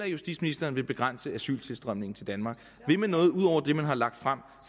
justitsministeren begrænse asyltilstrømningen til danmark vil man noget ud over det man har lagt frem